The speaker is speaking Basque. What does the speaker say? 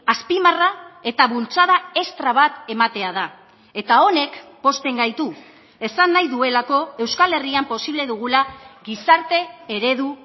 azpimarra eta bultzada estra bat ematea da eta honek pozten gaitu esan nahi duelako euskal herrian posible dugula gizarte eredu